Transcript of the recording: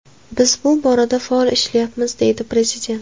Biz bu borada faol ishlayapmiz”, deydi prezident.